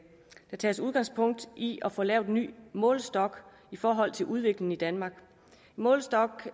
tages udgangspunkt i at få lavet en ny målestok i forhold til udviklingen i danmark en målestok